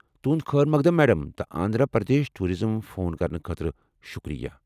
تہنٛد خٲر مقدم میڈم، تہٕ آنٛدھرا پردیش ٹوُراِزمس فون کرنہٕ خٲطرٕ شکریہ۔